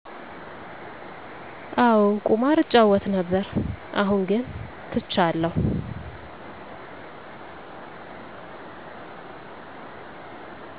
አዎ ቁማር እጫወት ነበር አሁን ግን ትቻለሁ